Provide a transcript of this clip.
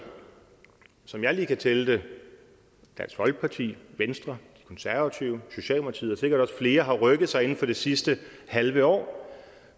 som jeg lige kan tælle det dansk folkeparti venstre de konservative socialdemokratiet og sikkert også flere har rykket sig inden for det sidste halve år